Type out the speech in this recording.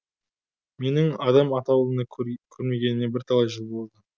менің адам атаулыны көрмегеніме бірталай жыл болды